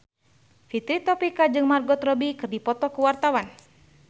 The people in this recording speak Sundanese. Fitri Tropika jeung Margot Robbie keur dipoto ku wartawan